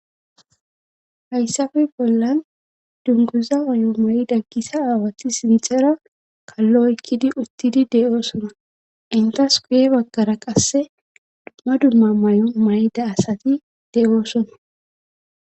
hayssafe bollan dunguza mayo mayda gisa aawati s mixera kalloykkidi uttidi de7oosona intas guye baggara qasse dumma dumma may7o may7da asati de7oosona